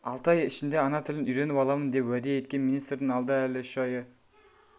алты ай ішінде ана тілін үйреніп аламын деп уәде еткен министрдің алда әлі үш айы